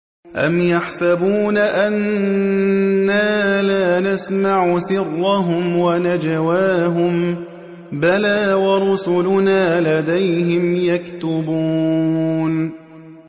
أَمْ يَحْسَبُونَ أَنَّا لَا نَسْمَعُ سِرَّهُمْ وَنَجْوَاهُم ۚ بَلَىٰ وَرُسُلُنَا لَدَيْهِمْ يَكْتُبُونَ